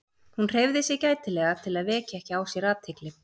Hún hreyfði sig gætilega til að vekja ekki á sér athygli.